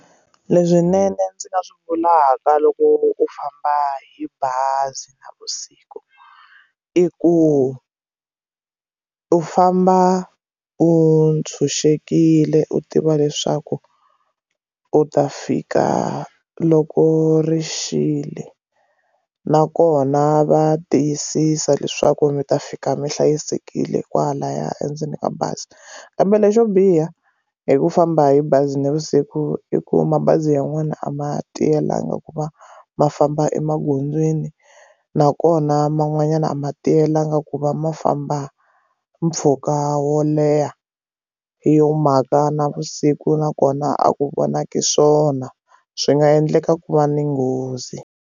Leswinene ndzi nga swi vulaka loko u famba hi bazi navusiku i ku u famba u tshunxekile u tiva leswaku u ta fika loko ri xile nakona va tiyisisa leswaku ndzi ta fika mi hlayisekile kwalaya endzeni ka bazi kambe lexo biha hi ku famba hi bazi navusiku i ku mabazi yan'wana a ma tiyelanga ku va ma famba emagondzweni nakona man'wanyana a ma tiyelanga ku va ma va famba mpfhuka wo leha hi yo mhaka na vusiku nakona a ku vonaki swona swi nga endleka ku va ni nghozi.